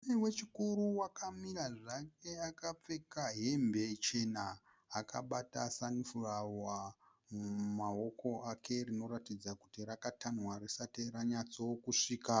Murume wechikuru wakamira zvake akapfeka hembe chena akabata sanifurawa mumaoko ake rinoratidza kuti rakatanhwa risati ranyatsokusvika.